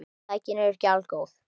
Tæknin er ekki algóð.